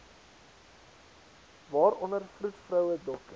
waaronder vroedvroue dokters